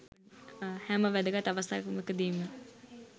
හැම වැදගත් අවස්ථාවක දීම